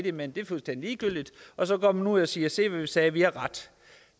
imellem det er fuldstændig ligegyldigt og så går man ud og siger se hvad vi sagde vi har ret